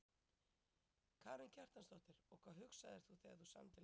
Karen Kjartansdóttir: Og hvað hugsaðir þú þegar þú samdir lagið?